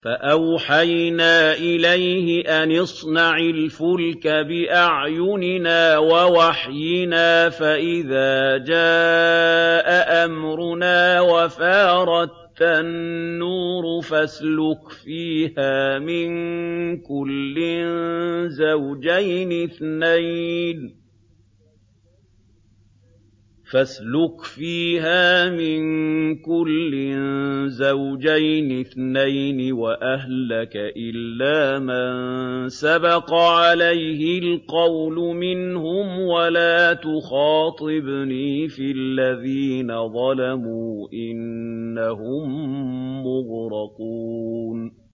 فَأَوْحَيْنَا إِلَيْهِ أَنِ اصْنَعِ الْفُلْكَ بِأَعْيُنِنَا وَوَحْيِنَا فَإِذَا جَاءَ أَمْرُنَا وَفَارَ التَّنُّورُ ۙ فَاسْلُكْ فِيهَا مِن كُلٍّ زَوْجَيْنِ اثْنَيْنِ وَأَهْلَكَ إِلَّا مَن سَبَقَ عَلَيْهِ الْقَوْلُ مِنْهُمْ ۖ وَلَا تُخَاطِبْنِي فِي الَّذِينَ ظَلَمُوا ۖ إِنَّهُم مُّغْرَقُونَ